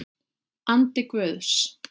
Andi Guðs.